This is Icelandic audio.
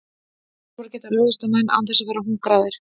Úlfar geta ráðist á menn án þess að vera hungraðir.